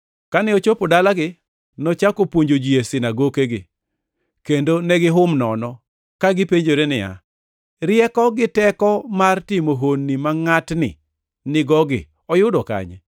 Kane ochopo dalagi, nochako puonjo ji e sinagokegi, kendo negihum nono, ka gipenjore niya, “Rieko gi teko mar timo honni ma ngʼatni nigogi oyudo kanye?